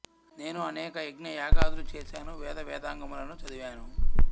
నేను అనేక యజ్ఞ యాగాదులు చేసాను వేద వేదాంగములను చదివాను